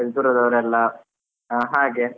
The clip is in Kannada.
ದೂರದವರೆಲ್ಲ ಹಾಗೆ.